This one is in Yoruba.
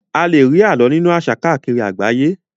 A lè rí alo nínú àṣà káàkiri àgbáyé.